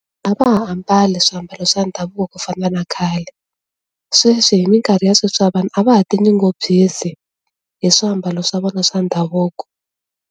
A va ha ambali swiambalo swa ndhavuko ku fana na khale, sweswi hi minkarhi ya sweswi wa vanhu a va ha tinyungubyisi hi swiambalo swa vona swa ndhavuko.